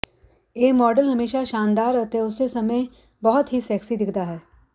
ਇਹ ਮਾਡਲ ਹਮੇਸ਼ਾ ਸ਼ਾਨਦਾਰ ਅਤੇ ਉਸੇ ਸਮੇਂ ਬਹੁਤ ਹੀ ਸੈਕਸੀ ਦਿਖਦਾ ਹੈ